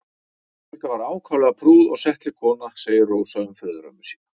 Helga var ákaflega prúð og settleg kona segir Rósa um föðurömmu sína.